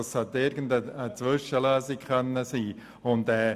Er sollte eine Zwischenlösung sein.